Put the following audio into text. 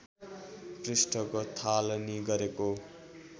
पृष्ठको थालनी गरेको